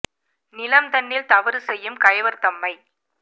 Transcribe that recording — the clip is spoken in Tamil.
நிலம்தன்னில் தவறுசெய்யும் கயவர் தம்மை